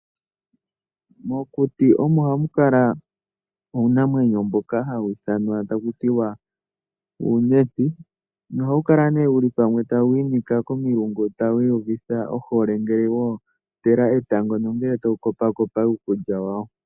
Mokuti omo hamu kala uunamwenyo mboka hawu ithanwa taku tiwa uuyenti. Nohawu kala wuli pamwe tawu inika komilungu tawu iyuvitha ohole, ngele wo ontela etango nenge tawu kopakopa uukulya wawo.